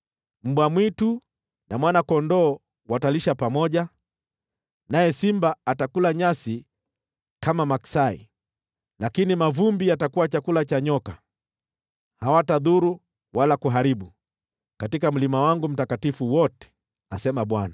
Mbwa mwitu na mwana-kondoo watalisha pamoja, naye simba atakula nyasi kama maksai, lakini mavumbi yatakuwa chakula cha nyoka. Hawatadhuru wala kuharibu katika mlima wangu mtakatifu wote,” asema Bwana .